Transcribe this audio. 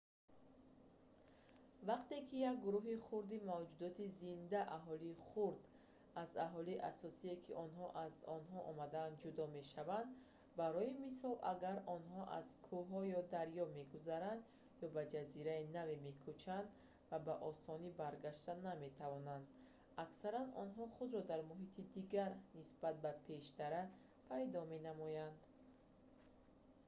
вақте ки як гурӯҳи хурди мавҷудоти зинда аҳолии хурд аз аҳолии асосие ки онҳо аз он омадаанд ҷудо мешавад барои мисол агар онҳо аз кӯҳҳо ё дарё мегузаранд ё ба ҷазираи наве мекӯчанд ва ба осонӣ баргашта наметавонанд аксаран онҳо худро дар муҳити дигар нисбат ба пештара пайдо менамоянд